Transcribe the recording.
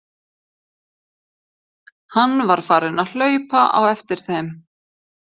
Hann var farinn að hlaupa á eftir þeim!